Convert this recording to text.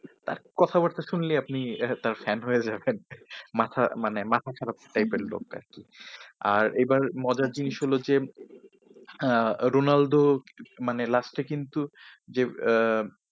কথা বার্তা শুনলে আপনি তার একটা fan হয়ে যাবেন । মাথা মানে মাথা খারাপ type এর লোক আরকি। আর এবার মজার জিনিস হলো যে আহ রোনালদো মানে last এ কিন্তু যে আহ